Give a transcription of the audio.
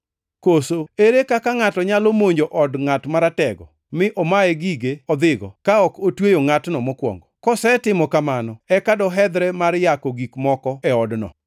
“Koso, ere kaka ngʼato nyalo monjo od ngʼat maratego mi omaye gige odhigo, ka ok otweyo ngʼatno mokwongo? Kosetimo kamano eka dohedhre mar yako gik moko e odno.